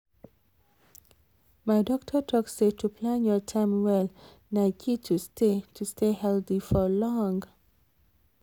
my doctor talk say to plan your time well na key to stay to stay healthy for long.